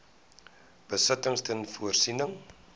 besittings ter voorsiening